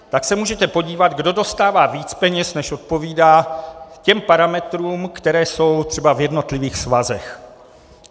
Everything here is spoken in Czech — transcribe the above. Tak se můžete podívat, kdo dostává víc peněz, než odpovídá těm parametrům, které jsou třeba v jednotlivých svazech.